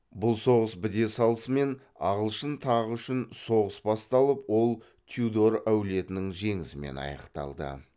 бұл соғыс біте салысымен ағылшын тағы үшін соғыс басталып ол тюдор әулетінің жеңісімен аяқталды